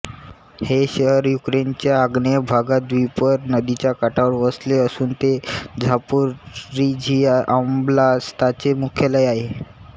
हे शहर युक्रेनच्या आग्नेय भागात द्नीपर नदीच्या काठावर वसले असून ते झापोरिझिया ओब्लास्ताचे मुख्यालय आहे